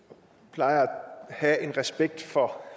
plejer at have en respekt for